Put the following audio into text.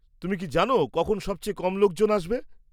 তুমি কি জানো, কখন সবচেয়ে কম লোকজন আসবে?